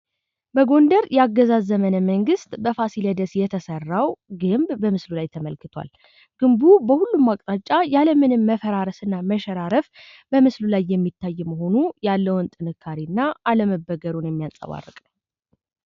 በጎንደር የአገዛዝ ዘመን መንግሥት በፋሲለደስ የተሰራው ግንብ በምስሉ ላይ ተመልክቷል። ግንቡ በሁሉም አቅጣጫ ያለምንም መፈራረስ እና መሸራረፍ በምስሉ ላይ የሚታይ መሆኑ ያለውን ጥንካሬና አለመበገሩን የሚያንጸባርቅ ነው።